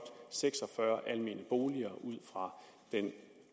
seks og fyrre almene boliger ud fra den